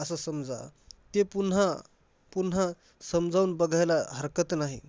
असं समजा. ते पुन्हा~ पुन्हा समजावून बघायला हरकत नाही.